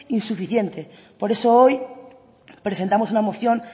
insuficiente por eso hoy presentamos una moción